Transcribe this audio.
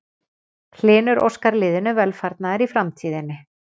Hlynur óskar liðinu velfarnaðar í framtíðinni.